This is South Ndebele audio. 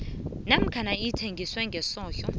namkha ithengiswe ngehloso